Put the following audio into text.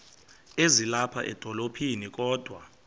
ezilapha edolophini kodwa